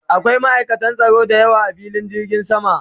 Akwai ma'aikatan tsaro da yawa a filin jirgin sama